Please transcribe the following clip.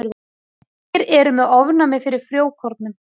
Margir eru með ofnæmi fyrir frjókornum.